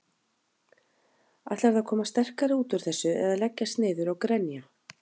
Ætlarðu að koma sterkari út úr þessu eða leggjast niður og grenja?